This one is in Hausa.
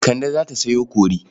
Kande za ta sayo kori.